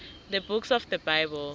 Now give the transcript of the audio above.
the books of the bible